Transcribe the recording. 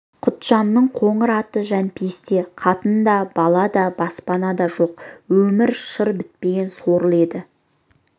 құтжанның қоңыр аты жәмпейісте қатын да бала да баспанада да жоқ өмірі шыр бітпеген сорлы еді